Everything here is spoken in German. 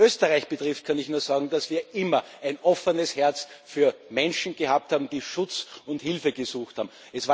Was Österreich betrifft, kann ich nur sagen, dass wir immer ein offenes Herz für Menschen gehabt haben, die Schutz und Hilfe gesucht haben.